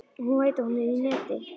Hún veit að hún er í neti.